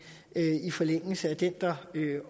i forlængelse af den der